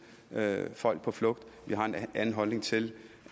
folk på flugt vi har en anden holdning til